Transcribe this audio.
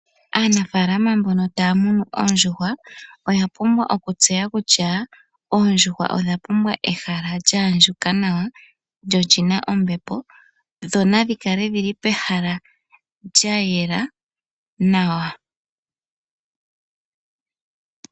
Aanafaalama mbono taya munu oondjuhwa oya pumbwa okutseya kutya, oondjuhwa odha pumbwa ehala lyaandjuka nawa, lyo oli na ombepo, dho nadhi kale dhi li pehala lya yela nawa.